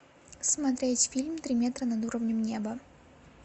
смотреть фильм три метра над уровнем неба